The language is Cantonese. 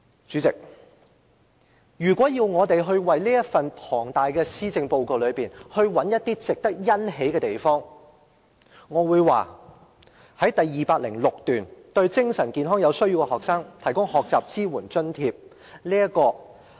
主席，如果要從這份浩繁的施政報告中找到一些值得欣喜之處，我會說是在第206段——對精神健康有需要的學生提供學習支援津貼。